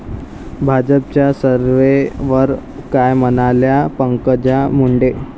भाजपच्या सर्व्हेवर काय म्हणाल्या पंकजा मुंडे!